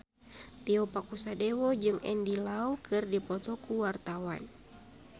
Tio Pakusadewo jeung Andy Lau keur dipoto ku wartawan